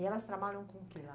E elas trabalham com o quê lá?